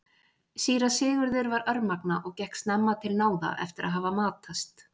Síra Sigurður var örmagna og gekk snemma til náða eftir að hafa matast.